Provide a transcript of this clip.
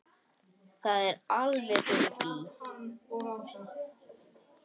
Er það alveg fyrir bí?